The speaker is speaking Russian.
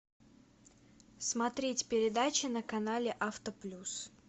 смотреть передачи на канале авто плюс